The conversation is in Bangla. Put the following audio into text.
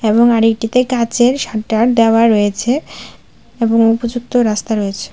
এবং আরেকটিতে কাচের শাটার দেওয়া রয়েছে এবং উপযুক্ত রাস্তা রয়েছে।